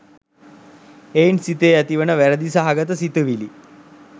එයින් සිතේ ඇතිවන වැරැදි සහගත සිතිවිලි